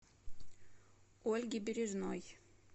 ольги бережной